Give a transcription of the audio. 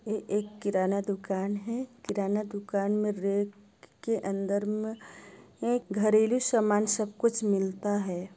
ये एक किराना दूकान है किराना दूकान मे रेक के अंदर मे ये घरेलू सामान सब कुछ मिलता है।